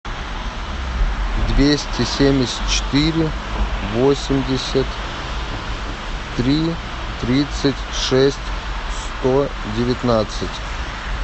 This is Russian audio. двести семьдесят четыре восемьдесят три тридцать шесть сто девятнадцать